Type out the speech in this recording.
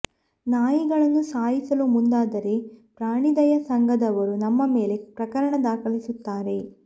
ನಾಯಿಗಳನ್ನು ಸಾಯಿಸಲು ಮುಂದಾದರೆ ಪ್ರಾಣಿದಯಾ ಸಂಘದವರು ನಮ್ಮ ಮೇಲೆ ಪ್ರಕರಣ ದಾಖಲಿಸುತ್ತಾರೆ